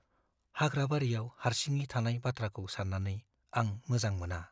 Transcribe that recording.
हाग्राबारियाव हारसिङै थानाय बाथ्राखौ सान्नानै आं मोजां मोना।